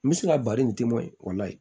N bɛ se ka bari nin time o la yen